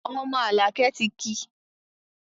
Ọmọ alakẹ tí ki